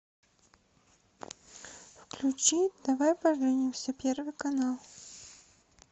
включи давай поженимся первый канал